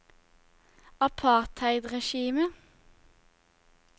apartheidregimet